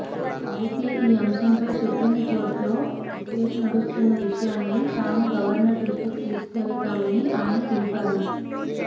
అయితే ఈ అంశంపై సుప్రీంకోర్టులో కేసు నడుస్తున్న విషయాన్ని తాము గవర్నర్ దృష్టికి తీసుకెళతామని ఆయన తెలిపారు